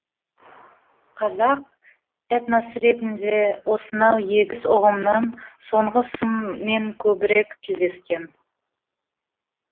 қазақ этнос ретінде осынау егіз ұғымның соңғысымен көбірек тілдескен